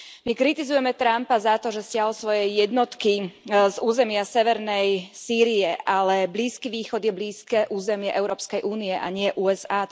My kritizujeme Trumpa za to, že stiahol svoje jednotky z územia severnej Sýrie, ale Blízky východ je blízke územie Európskej únie, a nie USA.